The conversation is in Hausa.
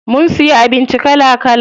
Mun siya abinci kala kala.